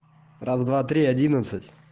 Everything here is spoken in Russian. раз два три одиннадцать